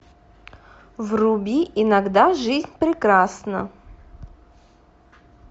вруби иногда жизнь прекрасна